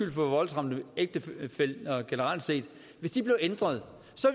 i forhold til ægtefæller generelt set blev ændret